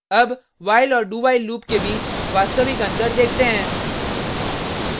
अब while और dowhile loop के बीच वास्तविक अंतर देखते हैं